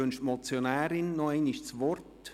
Wünscht die Motionärin nochmals das Wort?